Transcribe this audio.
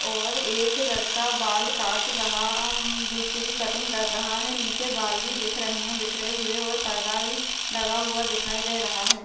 और एक लड़का बाल काट रहा उम्म दूसरी की कटिंग कर रहा हैनीचे बाल भी दिख रहे है बिखरे हुए और पर्दा भी लगा हुआ दिखई दे रहा है।